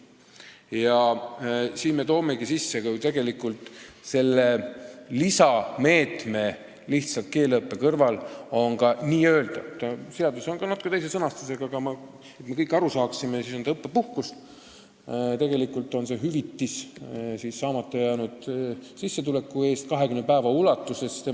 Sellepärast me toomegi seadusesse sisse selle lisameetme, et keeleõppe kõrval saab võtta ka õppepuhkust , kui inimesele makstakse tema keskmise palga alusel hüvitist saamata jäänud sissetuleku eest 20 päeva ulatuses.